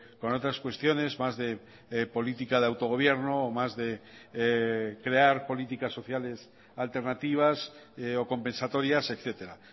con otras cuestiones más de política de autogobierno o más de crear políticas sociales alternativas o compensatorias etcétera